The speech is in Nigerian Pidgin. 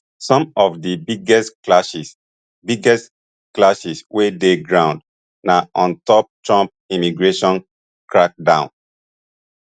some of di biggest clashes biggest clashes wey dey ground na on top trump immigration crackdown